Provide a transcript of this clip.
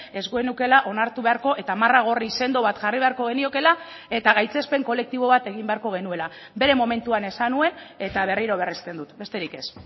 ez genukeela onartu beharko eta marra gorri sendo bat jarri beharko geniokeela eta gaitzespen kolektibo bat egin beharko genuela bere momentuan esan nuen eta berriro berresten dut besterik ez